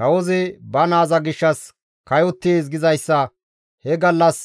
Kawozi, «Ba naaza gishshas kayottees» gizayssa he gallas